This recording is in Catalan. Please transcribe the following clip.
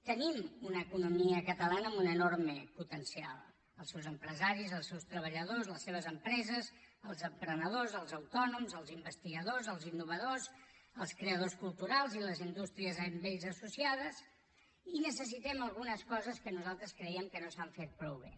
tenim una economia catalana amb un enorme potencial els seus empresaris els seus treballadors les seves empreses els emprenedors els autònoms els investigadors els innovadors els creadors culturals i les indústries amb ells associades i necessitem algunes coses que nosaltres creiem que no s’han fet prou bé